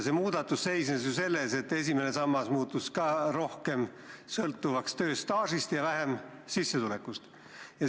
See muudatus seisnes selles, et esimene sammas muutus rohkem sõltuvaks tööstaažist ja vähem sissetulekust.